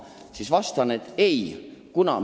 Mina vastan, et ei tõmmata.